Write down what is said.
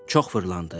Çox fırlandı.